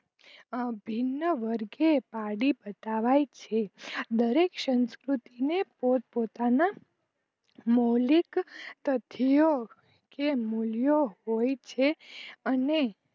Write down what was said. આભિન વર્ગે પારડી બતાવાય છે દર એક સંસ્કૃતને પોત પોતાના મૌલિક તથયો કે મૂલ્યો હોય છે અને